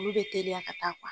Olu be teliya ka taa